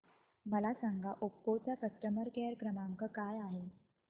मला सांगा ओप्पो चा कस्टमर केअर क्रमांक काय आहे